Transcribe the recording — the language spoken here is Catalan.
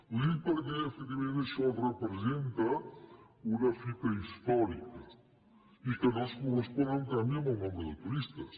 ho dic perquè efectivament això representa una fita històrica i que no es correspon en canvi amb el nombre de turistes